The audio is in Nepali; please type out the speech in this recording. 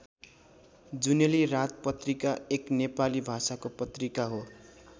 जुनेली रात पत्रिका एक नेपाली भाषाको पत्रिका हो।